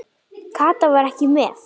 Kata var ekki með.